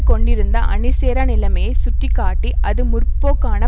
கொண்டிருந்த அணிசேரா நிலைமையை சுட்டி காட்டி அது முற்போக்கான